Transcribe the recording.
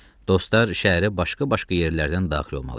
Dostlar şəhərə başqa-başqa yerlərdən daxil olmalı idilər.